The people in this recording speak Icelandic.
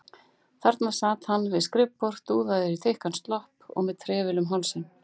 Þarna sat hann við skrifborð, dúðaður í þykkan slopp og með trefil um hálsinn.